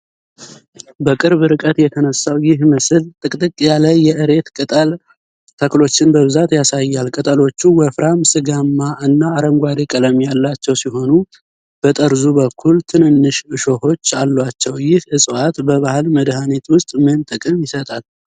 በቅርብ ርቀት የተነሳው ይህ ምስል ጥቅጥቅ ያለ የእሬት ቅጠል ተክሎችን በብዛት ያሳያል። ቅጠሎቹ ወፍራም፣ ሥጋማ እና አረንጓዴ ቀለም ያላቸው ሲሆኑ፣ በጠርዙ በኩል ትንንሽ እሾሆች አሏቸው። ይህ እፅዋት በባህል መድሃኒት ውስጥ ምን ጥቅም ይሰጣል?